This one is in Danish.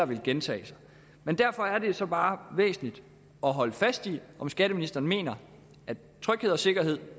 vil gentage sig men derfor er det jo så bare væsentligt at holde fast i om skatteministeren mener at tryghed og sikkerhed